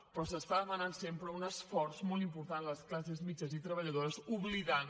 però s’està demanant sempre un esforç molt important a les classes mitjanes i treballadores oblidant